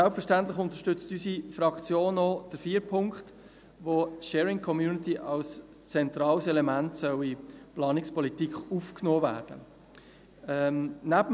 Selbstverständlich unterstützt unsere Fraktion auch die vier Punkte, in denen die Sharing Community als zentrales Element in die Planungspolitik aufgenommen werden soll.